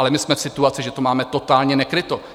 Ale my jsme v situaci, že to máme totálně nekryto.